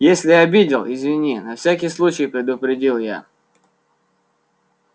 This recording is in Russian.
если обидел извини на всякий случай предупредил я